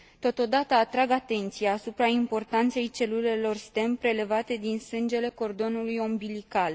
Totodată, atrag atenția asupra importanței celulelor stem prelevate din sângele cordonului ombilical.